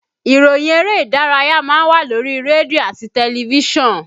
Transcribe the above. Ìròyìn eré ìdárayá má ń wà lórí rédíò àti tẹlifísàn